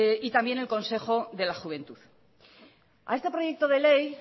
y también el consejo de la juventud a este proyecto de ley